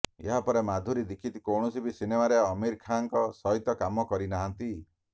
ଏହାପରେ ମାଧୁରୀ ଦୀକ୍ଷିତ କୌଣସି ବି ସିନେମାରେ ଆମିର ଖାନଙ୍କ ସହିତ କାମ କରିନାହାନ୍ତି